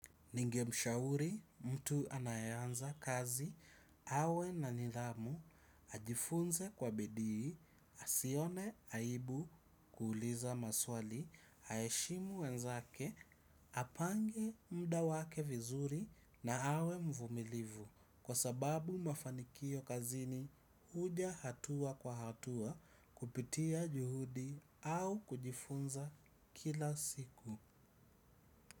Ningemshauri mtu anayeanza kazi, awe na nidhamu, ajifunze kwa bidii, asione aibu kuuliza maswali, aheshimu wenzake, apange mda wake vizuri na awe mvumilivu. Kwa sababu mafanikio kazini huja hatua kwa hatua kupitia juhudi au kujifunza kila siku.